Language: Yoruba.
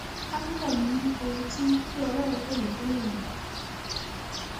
pásítọ ni mí ohun tí tí ọlọrun pè mí fún nìyẹn